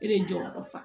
E de jɔyɔrɔ fa